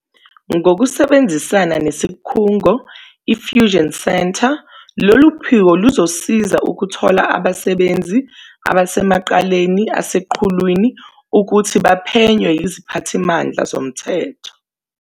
Ngokusebenzisana nesikhungo iFusion Centre, lolu phiko luzosiza ukuthola abasebenzi abasemacaleni aseqhulwini ukuthi baphenywe yiziphathimandla zomthetho.